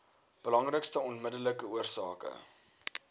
belangrikste onmiddellike oorsake